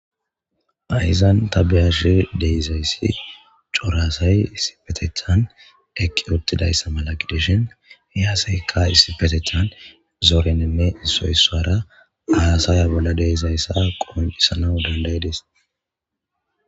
ayizan tabiyashe deizayssi corasay isipetecthan eqqi ottidayssa malaqideshin yaaseka issipetethan zoorenene soysara ayasaya bolla deizayssa qoncisana dandayides